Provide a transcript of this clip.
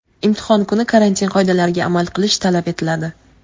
Imtihon kuni karantin qoidalariga amal qilish talab etiladi.